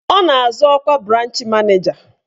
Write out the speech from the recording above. Ọ na-azọ ọkwa branch maneja.